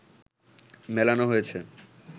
মেলানো হয়েছে